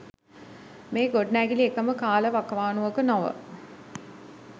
මේ ගොඩනැගිලි එකම කාලවකවානුවක නොව